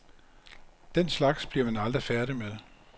Den slags bliver man aldrig færdig med.